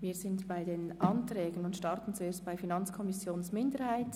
Wir sind bei den Anträgen angelangt und beginnen mit der FiKo-Minderheit.